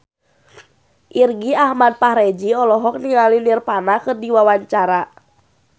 Irgi Ahmad Fahrezi olohok ningali Nirvana keur diwawancara